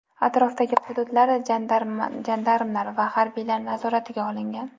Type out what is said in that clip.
Atrofdagi hududlar jandarmlar va harbiylar nazoratiga olingan.